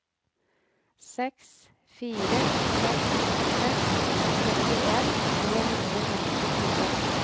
seks fire seks seks syttien tre hundre og femtifire